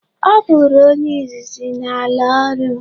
Ọ bụrụ onye izizi na-ala orụ.